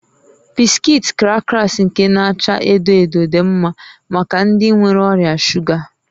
Bisikiiti krakas nke n'acha edo edo dị mma maka ndị nwere ọrịa shuga